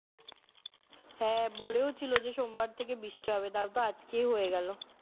হ্যাঁ বলেও ছিলো যে সোমবার থেকে বৃষ্টি হবে তারপর আজকেই হয়ে গেল